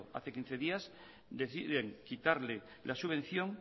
hace quince días deciden quitarle la subvención